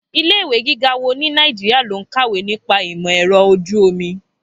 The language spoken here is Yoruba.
Ilé ìwé gíga wo ní Nàìjíríà ló ń kàwé nípa ìmọ̀ ẹ̀rọ ojú omi?